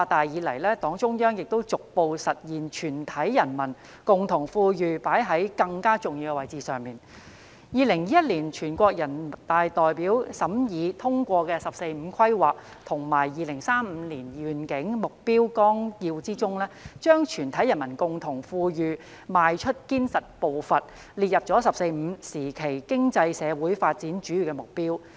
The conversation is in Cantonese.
2021年全國人民代表大會審議通過的《中華人民共和國國民經濟和社會發展第十四個五年規劃和2035年遠景目標綱要》中，把"全體人民共同富裕邁出堅實步伐"列入"十四五"時期經濟社會發展的主要目標。